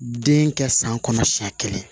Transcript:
Den kɛ san kɔnɔ siɲɛ kelen